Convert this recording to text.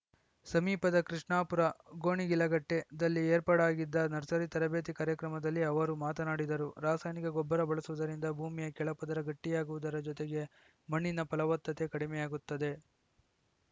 ಸಮೀಪದ ಕೃಷ್ಣಾಪುರ ಗೊಣಗಿಲಕಟ್ಟೆದಲ್ಲಿ ಏರ್ಪಾಡಾಗಿದ್ದ ನರ್ಸರಿ ತರಬೇತಿ ಕಾರ್ಯಕ್ರಮದಲ್ಲಿ ಅವರು ಮಾತನಾಡಿದರು ರಾಸಾಯನಿಕ ಗೊಬ್ಬರ ಬಳಸುವುದರಿಂದ ಭೂಮಿಯ ಕೆಳಪದರ ಗಟ್ಟಿಯಾಗುವುದರ ಜೊತೆಗೆ ಮಣ್ಣಿನ ಫಲವತ್ತತೆ ಕಡಿಮೆಯಾಗುತ್ತದೆ